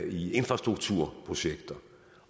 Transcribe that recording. i infrastrukturprojekter de